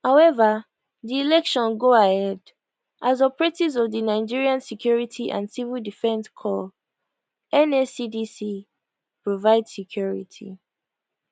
however di election go ahead as operatives of di nigeria security and civil defence corps nscdc provide security